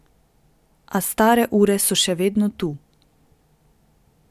A stare ure so še vedno tu.